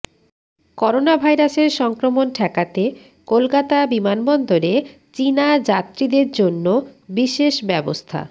করোনাভাইরাসের সংক্রমণ ঠেকাতে কলকাতা বিমানবন্দরে চীনা যাত্রীদের জন্য বিশেষ ব্যবস্থা